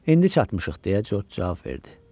İndi çatmışıq, deyə Corc cavab verdi.